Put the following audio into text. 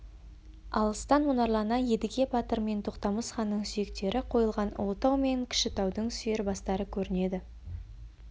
алыстан мұнарлана едіге батыр мен тоқтамыс ханның сүйектері қойылған ұлытау мен кішітаудың сүйір бастары көрінеді